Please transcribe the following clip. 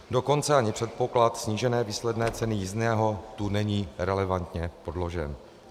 Dokonce ani předpoklad snížené výsledné ceny jízdného tu není relevantně podložen.